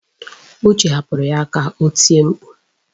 Uche hapụrụ ya ka o tie mkpu.